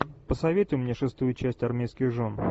посоветуй мне шестую часть армейских жен